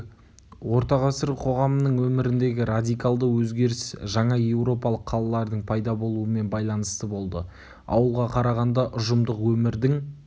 орта ғасыр қоғамының өміріндегі радикалды өзгеріс жаңа еуропалық қалалардың пайда болуымен байланысты болды ауылға қарағанда ұжымдық өмірдің